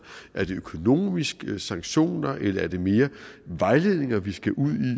er det økonomiske sanktioner eller er det mere vejledninger vi skal ud